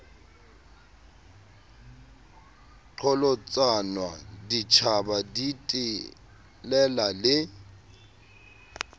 qholotsanwa ditjhaba di telela le